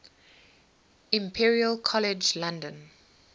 imperial college london